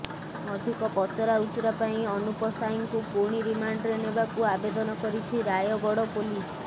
ଅଧିକ ପଚରାଉଚରା ପାଇଁ ଅନୁପ ସାଏଙ୍କୁ ପୁଣି ରିମାଣ୍ଡରେ ନେବାକୁ ଆବେଦନ କରିଛି ରାୟଗଡ଼ ପୋଲିସ